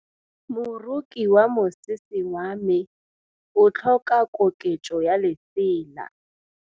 Moroki wa mosese wa me o tlhoka koketsô ya lesela.